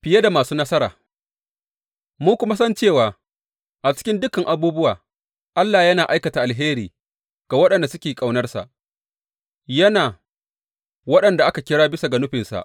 Fiye da masu nasara Mun kuma san cewa a cikin dukan abubuwa Allah yana aikata alheri ga waɗanda suke ƙaunarsa, yana waɗanda aka kira bisa ga nufinsa.